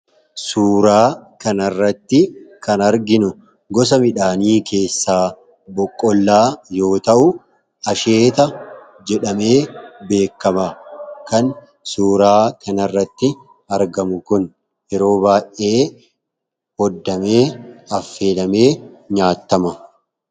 Suuraa kanarratti kan arginu gosa midhaanii keessaa boqqollaa yoo ta'u, asheeta jedhamee beekama. Kan suuraaa kanarratti argamu kun yeroo baay'ee, waaddamee affeelamee nyaatama.